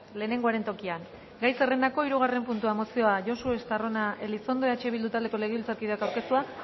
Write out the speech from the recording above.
lehenengoaren tokian gai zerrendako hirugarren puntua mozioa josu estarrona elizondo eh bildu taldeko legebiltzarkideak aurkeztua